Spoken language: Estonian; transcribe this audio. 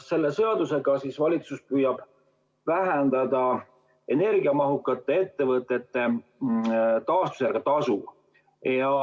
Selle seadusega valitsus püüab vähendada energiamahukate ettevõtete taastuvenergia tasu.